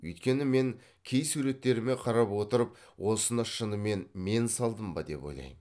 өйткені мен кей суреттеріме қарап отырып осыны шынымен мен салдым ба деп ойлайм